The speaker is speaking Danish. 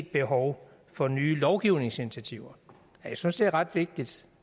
behov for nye lovgivningsinitiativer jeg synes det er ret vigtigt